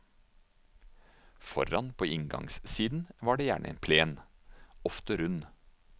Foran på inngangssiden var det gjerne en plen, ofte rund.